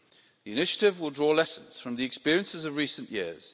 The initiative will draw lessons from the experiences of recent years.